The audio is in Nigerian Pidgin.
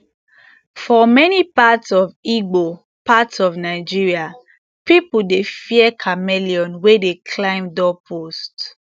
for many parts of igbo parts of nigeria people dey fear chameleon wey dey climb doorpost